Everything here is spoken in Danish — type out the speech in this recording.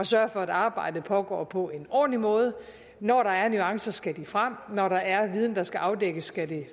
sørge for at arbejdet foregår på en ordentlig måde når der er nuancer skal de frem når der er viden der skal afdækkes skal det